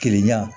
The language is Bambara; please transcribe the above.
Keleya yan